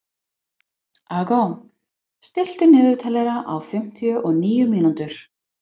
Aagot, stilltu niðurteljara á fimmtíu og níu mínútur.